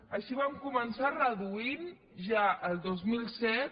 així vam començar reduint ja el dos mil set